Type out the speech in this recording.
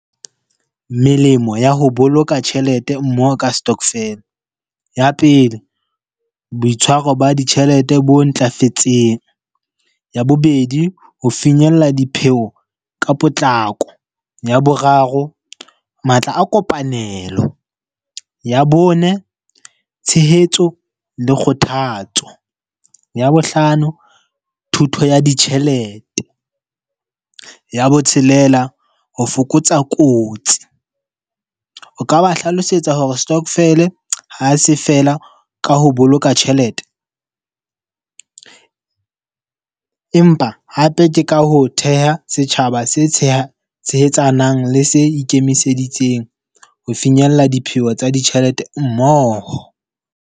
Melemo ya ho boloka tjhelete mmoho ka stokvel. Ya pele, boitshwaro ba ditjhelete bo ntlafetseng. Ya bobedi, ho finyella dipheho ka potlako. Ya boraro, matla a kopanelo. Ya bone, tshehetso le kgothatso. Ya bo hlano, thuto ya ditjhelete. Ya botshelela, ho fokotsa kotsi. O ka ba hlalosetsa hore stokvel ha se fela ka ho boloka tjhelete. Empa hape ke ka ho theha setjhaba se tsheha tshehetsanang le se ikemiseditseng ho finyella dipheo tsa ditjhelete mmoho.